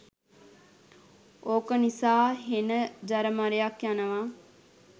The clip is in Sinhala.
ඕක නිසා හෙන ජරමරයක් යනවා.